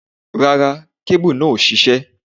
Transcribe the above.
Rárá, kébù náà ò ṣiṣẹ́.